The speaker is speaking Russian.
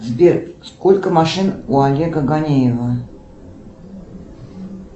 сбер сколько машин у олега ганеева